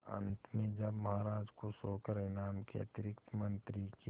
अंत में जब महाराज खुश होकर इनाम के अतिरिक्त मंत्री के